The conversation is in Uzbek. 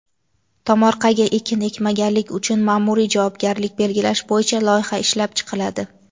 Tomorqaga ekin ekmaganlik uchun maʼmuriy javobgarlik belgilash bo‘yicha loyiha ishlab chiqiladi.